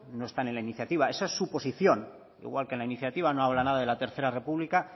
no están en la iniciativa esa es su posición igual que en la iniciativa no habla nada de la tercera república